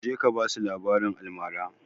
Je ka basu labaran almara!